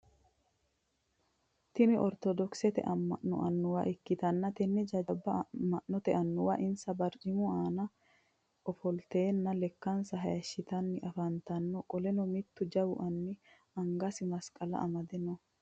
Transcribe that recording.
Tinni ortodokisete ama'no anuwa ikitanna tenne jajaba ama'note anuwara insa barcimu aanna ifilteenna lekansa hayishitanni afantano qoleno mitu jawu anni angasi masiqala amade no.